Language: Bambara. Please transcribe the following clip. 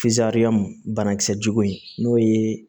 banakisɛ jugu in n'o ye